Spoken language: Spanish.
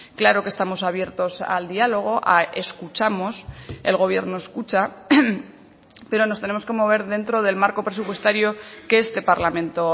claro que estamos abiertos al diálogo escuchamos el gobierno escucha pero nos tenemos que mover dentro del marco presupuestario que este parlamento